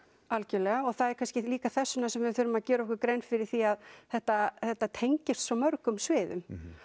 algjörlega það er kannski líka þessvegna sem við þurfum að gera okkur grein fyrir því að þetta þetta tengist svo mörgum sviðum